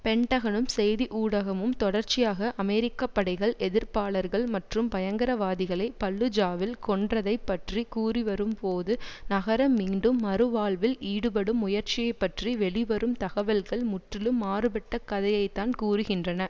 பென்டகனும் செய்தி ஊடகமும் தொடர்ச்சியாக அமெரிக்க படைகள் எதிர்ப்பாளர்கள் மற்றும் பயங்கரவாதிகளை பல்லுஜாவில் கொன்றதைப் பற்றி கூறிவரும்போது நகரம் மீண்டும் மறு வாழ்வில் ஈடுபடும் முயற்சியைப்பற்றி வெளிவரும் தகவல்கள் முற்றிலும் மாறுபட்ட கதையைத்தான் கூறுகின்றன